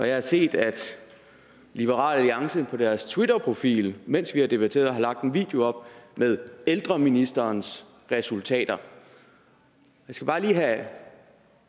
jeg har set at liberal alliance på deres twitterprofil mens vi har debatteret har lagt en video op med ældreministerens resultater jeg skal bare lige